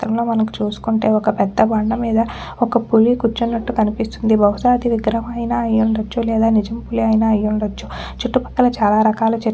చిత్రంలో మనకు చూసుకుంటే ఒక్క పెద్ద బండ మీద ఒక పులి కుర్చునట్టు కనిపిస్తుంది. బహుశా అది విగ్రహం అయిన అయ్యుండచ్చు. లేదా నిజం పులి అయిన అయ్యుండచ్చు. చుట్టు పక్కల చాలా రకాల చెట్--